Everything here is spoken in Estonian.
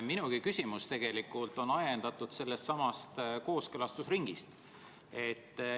Minugi küsimus on ajendatud sellestsamast kooskõlastusringist.